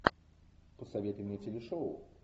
посоветуй мне телешоу